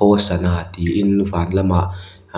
hosanna tiin van lamah